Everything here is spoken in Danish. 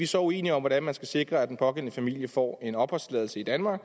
så uenige om hvordan man skal sikre at den pågældende familie får en opholdstilladelse i danmark